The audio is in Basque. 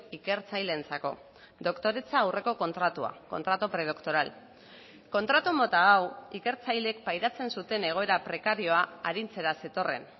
ikertzaileentzako doktoretza aurreko kontratua contrato predoctoral kontratu mota hau ikertzaileek pairatzen zuten egoera prekarioa arintzera zetorren